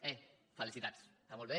ei felicitats està molt bé